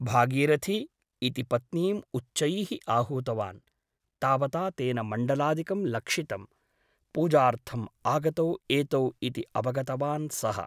भागीरथि ! इति पत्नीम् उच्चैः आहूतवान् । तावता तेन मण्डलादिकं लक्षितम् । पूजार्थम् आगतौ एतौ इति अवगतवान् सः ।